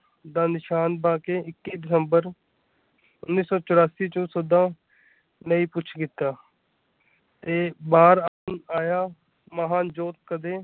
ਦਾ ਨਿਸ਼ਾਨ ਪਾ ਕੇ ਇੱਕੀ ਦਸੰਬਰ ਉੱਨ੍ਹੀ ਸੌ ਚੌਰਾਸੀ ਚ ਸਦਾ ਲਈ ਕੁੱਛ ਕੀਤਾ ਤੇ ਬਾਹਰ ਆਇਆ ਮਹਾਨ ਜੋ ਕਦੇ।